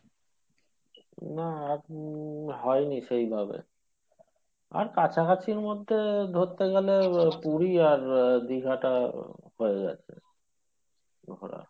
না এখন হয়নি সেইভাবে আর কাছাকাছির মধ্যে ধরতে গেলে আহ পুরী আর আহ দীঘাটা হয়ে গেছে ঘোরা